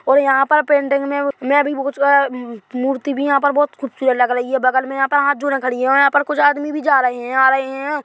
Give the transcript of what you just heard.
और यहाँ पर पेंटिंग में में भी भूच कर मूर्ती भी है यहाँ पर बहोत खुबसुरत लग रही है बगल में यहाँ पर हाथ जोड़े खड़ी है और यहाँ पर कुछ आदमी भी जा रहे है और आ रहे हैं।